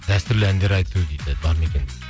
дәстүрлі әндер айту дейді бар ма екен